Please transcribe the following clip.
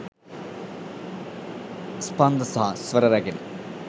ස්පන්ද සහ ස්වර රැගෙන